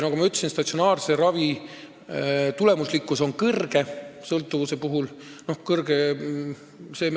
Nagu ma ütlesin, statsionaarse ravi tulemuslikkus on sõltuvuse puhul suur.